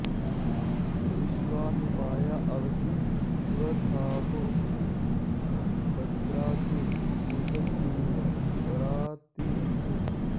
विश्वा हि माया अवसि स्वधावो भद्रा ते पूषन्निह रातिरस्तु